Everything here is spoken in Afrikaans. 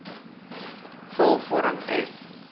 vul vorm f